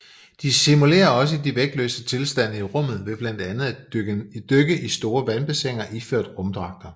De simulerer også de vægtløse tilstande i rummet ved blandt andet at dykke i store vandbassiner iført rumdragter